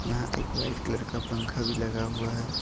यहां एक white colour का पंखा भी लगा हुआ है।